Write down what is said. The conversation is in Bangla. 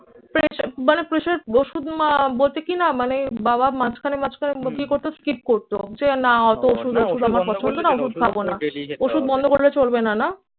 প্রেশা মানে প্রেশার ওষুধ মা বলতে কিনা? মানে বাবা মাঝখানে মাঝখানে মুখের কথা স্কিপ করতো। যে না অত ওষুধ টষুধ আমার পছন্দ না। ওষুধ খাব না। ওষুধ বন্ধ করলে চলবে না, না?